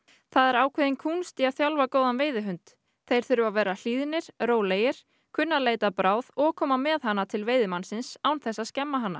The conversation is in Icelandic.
það er ákveðin kúnst að þjálfa góðan veiðihund þeir þurfa að vera hlýðnir rólegir kunna að leita að bráð og koma með hana til veiðimannsins án þess að skemma hana